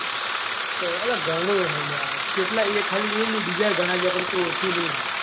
તો અલ્યાં ઘણું હે લ્યાં ચેટલા એ ખાલી એ ની બીજા ઘણાં જ્યાં પણ તું ઓળખી ની ઈમ.